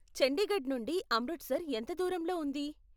చండీగఢ్ నుండి అమృత్సర్ ఎంత దూరంలో ఉంది?